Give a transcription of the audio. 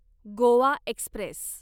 Goa Express